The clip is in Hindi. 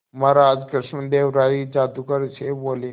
महाराज कृष्णदेव राय जादूगर से बोले